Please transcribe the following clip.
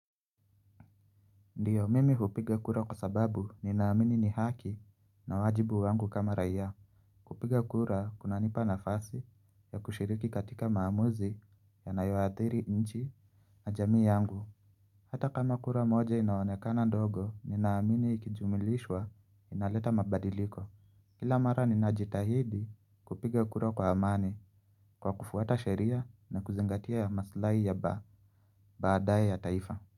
Ndiyo, mimi hupiga kura kwa sababu ninaamini ni haki na wajibu wangu kama rayaa. Kupiga kura, kunanipa nafasi ya kushiriki katika maamuzi yanayoathiri nchi na jamii yangu. Hata kama kura moja inaonekana ndogo, ninaamini ikijumulishwa inaleta mabadiliko. Kila mara ninajitahidi kupiga kura kwa amani kwa kufuata sheria na kuzingatia maslahi ya ba, baadaye ya taifa.